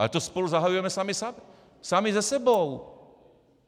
Ale to spolu zahajujeme sami se sebou!